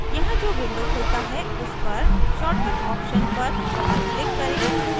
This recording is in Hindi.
यहाँ जो window खुलता है उस पर shortcut option पर doubleclick करें